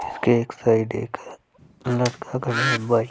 उसके एक साइड एक लड़का खड़ा है --